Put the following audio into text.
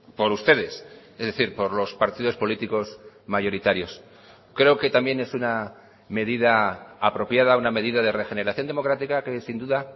por ustedes es decir por los partidos políticos mayoritarios creo que también es una medida apropiada una medida de regeneración democrática que sin duda